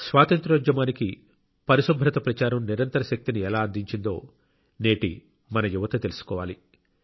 స్వాతంత్య్రోద్యమానికి పరిశుభ్రత ప్రచారం నిరంతర శక్తిని ఎలా అందించిందో మన నేటి యువత తెలుసుకోవాలి